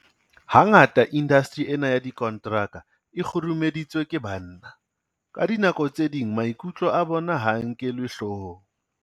Hangata indasteri ena ya dikonteraka e kgurumeditswe ke banna. Ka dinako tse ding maikutlo a bona ha a nkelwe hloohong.